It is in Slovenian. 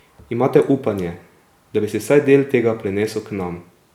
Imate upanje, da bi se vsaj del tega prenesel k nam?